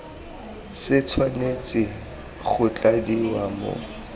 se tshwanetse go tladiwa mo